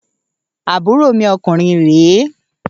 Àbúrò mi ọkùnrin re